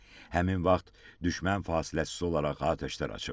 həmin vaxt düşmən fasiləsiz olaraq atəşlər açıb.